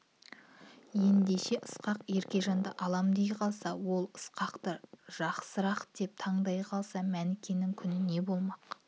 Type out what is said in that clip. ен-деше ысқақ еркежанды алам дей қалса ол ысқақты жасырақ деп таңдай қалса мәнікенің күні не болмақ